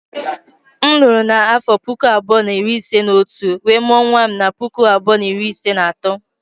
M lụrụ n'afo puku abuo na iri ise na otu, wee mụọ nwa m na puku abuo na iri ise na ato.